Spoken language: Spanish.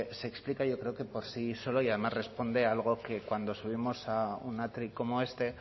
se explica yo creo que por sí solo y además responde a algo que cuando subimos a un atril como este